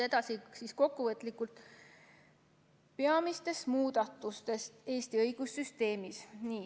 Kokkuvõtlikult peamistest muudatustest Eesti õigussüsteemis.